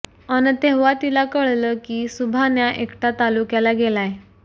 अन् तेव्हा तिला कळलं की सुभान्या एकटा तालुक्याला गेलाय